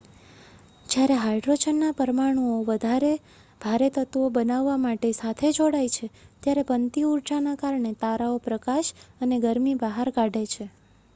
જ્યારે હાયડ્રોજનનાં પરમાણુઓ વધારે ભારે તત્વો બનાવવા માટે સાથે જોડાય છે ત્યારે બનતી ઉર્જાના કારણે તારાઓ પ્રકાશ અને ગરમી બહાર કાઢે છે